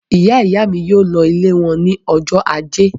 Ìyá-ìyá mi yóò lọ ilé wọn ní ọjọ́ ajé.